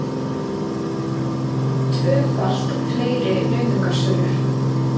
Tvöfalt fleiri nauðungarsölur